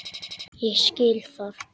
Ég skil það!